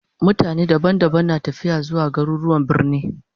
Mutane daga kauyuka daban-daban na tafiya zuwa garuruwan birni